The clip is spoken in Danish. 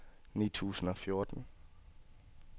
ni tusind og fjorten